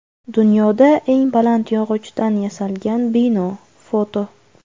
Dunyoda eng baland yog‘ochdan yasalgan bino (foto).